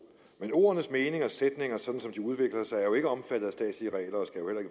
men ordenes mening og sætninger sådan som de udvikler sig er jo ikke omfattet